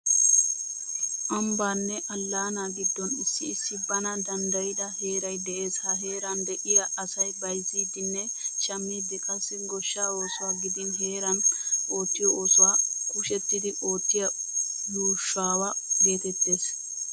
Ambbanne allaanaa giddon issi issi bana danddayida heeray de'es. Ha heeran de'iya asay bayzIddinne shammiiddi qassi goshshaa oosuwa gidin heeran oottiyo oosuwa kushettidi oottiya yuushowa geetettes.